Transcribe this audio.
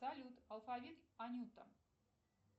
салют алфавит анюта